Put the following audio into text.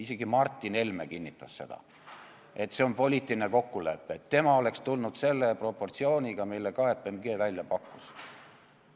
Isegi Martin Helme kinnitas, et see on poliitiline kokkulepe, et tema oleks siia tulnud selle proportsiooniga, mille KPMG välja pakkus.